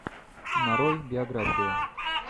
нарой биографию